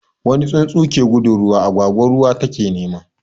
Wani tsuntsu ke gudun ruwa, agwagwa ruwa take nema.